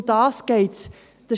Um das geht es.